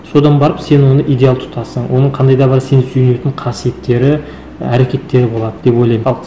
содан барып сен оны идеал тұтасың оның қандай да бір сенің сүйенетін қасиеттері әрекеттері болады деп ойлаймын ал